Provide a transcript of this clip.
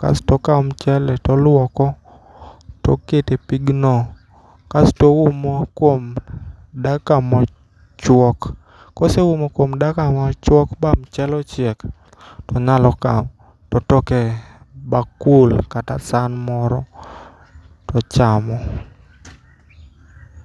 kasto ikawo mchele to oluoko to okete e pigno, kasto ohumo kuom dakika mochuok, koseumo kuom dakika mochuok ma mchele ochiel to nyalo kawo to otoke e bakul kata san moro to chamo